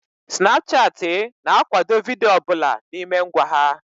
Snapchat ị na akwado vidiyo ọbụla n'ime ngwa ha